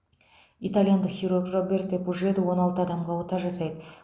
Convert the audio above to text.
итальяндық хирург роберто пужеду он алты адамға ота жасайды